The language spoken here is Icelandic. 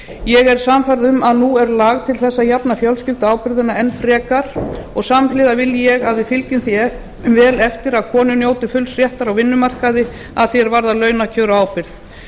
ég er sannfærð um að nú er lag til þess að jafna fjölskylduábyrgðina enn frekar og samhliða vil ég að við fylgjum því vel eftir að konur njóti fulls réttar á vinnumarkaði að því er varðar launakjör og ábyrgð